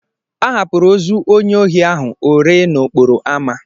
A hapụrụ ozu onye ohi ahụ o ree n'okporo amá.